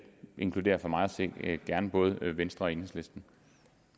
inkluderer for mig at se gerne både venstre og enhedslisten